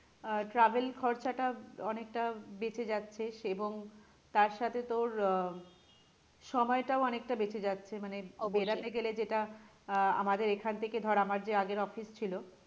আহ travel খরচা টা অনেকটা বাঁচে যাচ্ছে এবং তার সাথে তোর আহ সময়টা অনেকটা বেঁচে যাচ্ছে মানে অবশ্যই বেরোতে গেলে যেটা আহ আমাদের এখান থেকে ধর আমার আগের যে office ছিল